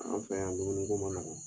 An fɛ yan dumuni ko ma nɔgɔ